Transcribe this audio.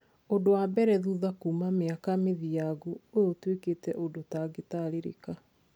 Rita ria mbere thutha kuuma miake mithiangu, uyũ ũtwikite undũ utangitaririka.